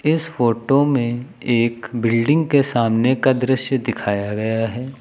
इस फोटो में एक बिल्डिंग के सामने का दृश्य दिखाया गया है।